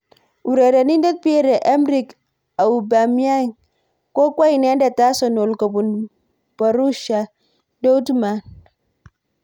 Urerenindet Pierre Emerick Aubamayeng kokwo inendet Arsenal kobun Borussia Dourtmund.